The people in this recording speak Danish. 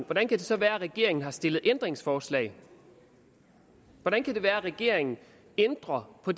hvordan kan det så være at regeringen har stillet ændringsforslag hvordan kan det være at regeringen ændrer på